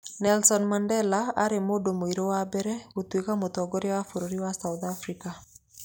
Nelson Mandela arĩ mũndũ mũirũ wa mbere gũtuĩka mũtngoria wa bũrũri wa south africa